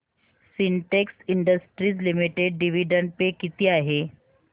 Sintex industries limited dividend pay किती आहे